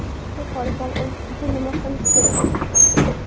Yuqori ball olish uchun nima qilish kerak?